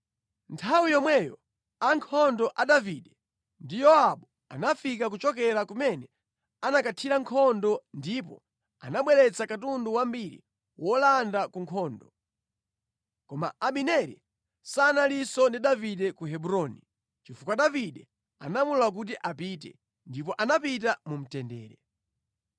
Nthawi yomweyo ankhondo a Davide ndi Yowabu anafika kuchokera kumene anakathira nkhondo ndipo anabweretsa katundu wambiri wolanda ku nkhondo. Koma Abineri sanalinso ndi Davide ku Hebroni, chifukwa Davide anamulola kuti apite, ndipo anapita mu mtendere.